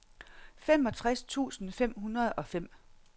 femogtres tusind fem hundrede og fem